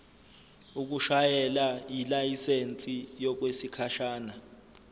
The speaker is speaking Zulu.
ukushayela yilayisensi yokwesikhashana